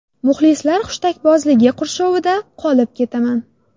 Muxlislar hushtakbozligi qurshovida qolib ketaman.